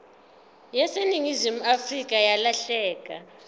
yaseningizimu afrika yalahleka